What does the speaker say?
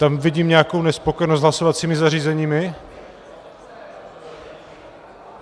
Tam vidím nějakou nespokojenost s hlasovacími zařízeními?